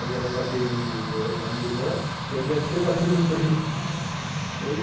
A minha mãe bateu na minha irmã e a minha tia bateu no meu primo, nossa